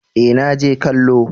eh na je kallo